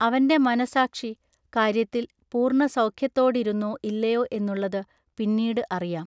അവന്റെ മനൊസാക്ഷി ൟ കാൎയ്യത്തിൽ പൂർണ്ണസൗെഖ്യത്തോടിരുന്നൊ ഇല്ലയൊ എന്നുള്ളതു പിന്നീടു അറിയാം.